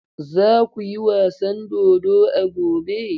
Za ku yi wasan dodo a gobe!